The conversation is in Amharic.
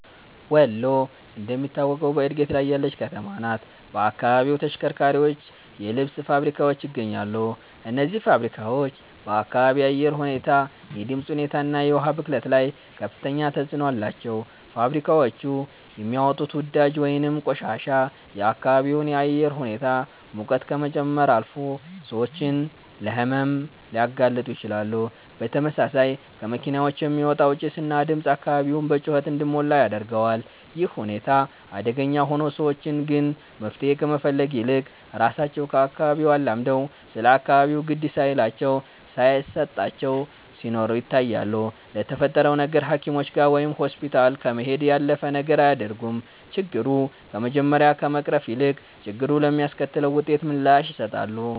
ወሎ እንደምታውቀው በእድገት ላይ ያለች ከተማ ናት። በአካባቢው ተሽከርካሪዎች፣ የልብስ ልብስ ፋብሪካዎች ይገኛሉ። እነዚህ ፋብሪካዎች በአካባቢ አየር ሁኔታ፣ የድምፅ ሁኔታ እና የውሃ ብክለት ላይ ከፍተኛ ተጽዕኖ አላቸው። ፋብሪካዎቹ የሚያወጡት ወዳጅ ወይንም ቆሻሻ የአካባቢውን አየር ሁኔታ ሙቀት ከመጨመር አልፎ ሰዎችን ለሕመም ሊያጋልጡ ይችላሉ። በተመሳሳይ ከመኪኖች የሚወጣው ጭስ እና ድምፅ አካባቢውን በጩኸት እንዲሞላ ያደርገዋል። ይህ ሁኔታ አደገኛ ሆኖ፣ ሰዎች ግን መፍትሄ ከመፈለግ ይልቅ ራሳቸው ከአካባቢው አላምደው ስለ አካባቢው ግድ ሳይላቸው ሳየሰጣቸው ሲኖሩ ይታያሉ። ለተፈጠረው ነገር ሃኪሞችጋ ወይም ሆስፒታል ከመሄድ ያለፈ ነገር አያደርጉም። ችግሩ ከመጀመሪያ ከመቅረፍ ይልቅ፣ ችግሩ ለሚያስከትለው ውጤት ምላሽ ይሰጣሉ